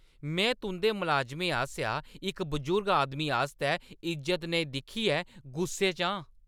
में तुंʼदे मलाजमें आसेआ इक बजुर्ग आदमी आस्तै इज्जत नेईं दिक्खियै गुस्से च आं।